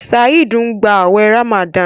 Saheed ń gbà awé ramadan.